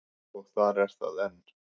Og þar er það enn.